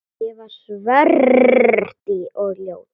Ég var svört og ljót.